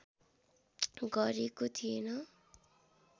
गरेको थिएन